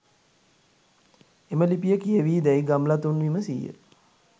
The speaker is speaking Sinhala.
එම ලිපිය කියවී දැයි ගම්ලතුන් විමසීය.